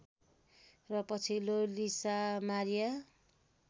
र पछिल्लो Lisa Maria